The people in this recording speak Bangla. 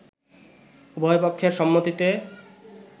উভয়পক্ষের সম্মতিতে